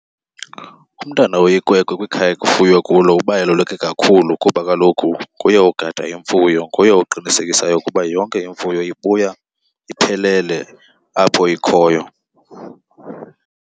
Umntana oyikwekwe kwikhaya ekufuywe kulo ubaluleke kakhulu kuba kaloku nguye ogada imfuyo, nguye oqinisekisayo ukuba yonke imfuyo ibuya iphelele apho ikhoyo.